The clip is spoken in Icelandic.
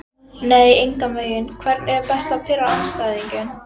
nei engan veginn Hvernig er best að pirra andstæðinginn?